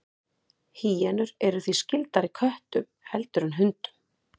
Hýenur eru því skyldari köttum heldur en hundum.